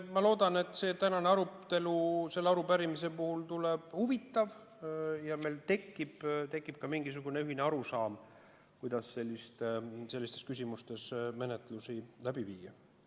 Ma loodan, et tänane arutelu selle arupärimise teemal tuleb huvitav ja meil tekib ka mingisugune ühine arusaam, kuidas sellistes küsimustes menetlust läbi viia.